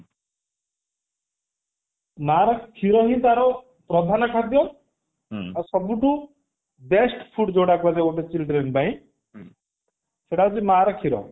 ମାର କ୍ଷୀର ହିଁ ତାର ପ୍ରଧାନ ଖାଦ୍ୟ ଆଉ ସବୁଠୁ best food ଯୋଉଟା କୁହାଯାଏ ଗୋଟେ children ପାଇଁ ସେଟା ହଉଛି ମାର କ୍ଷୀର